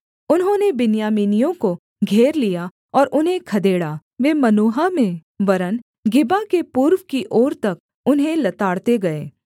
उन्होंने बिन्यामीनियों को घेर लिया और उन्हें खदेड़ा वे मनुहा में वरन् गिबा के पूर्व की ओर तक उन्हें लताड़ते गए